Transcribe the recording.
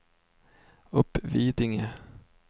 Uppvidinge